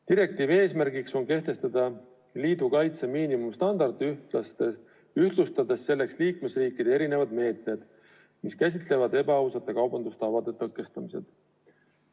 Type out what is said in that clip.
Direktiivi eesmärk on kehtestada liidu kaitse miinimumstandard, ühtlustades selleks liikmesriikide meetmed, mis käsitlevad ebaausate kaubandustavade tõkestamist.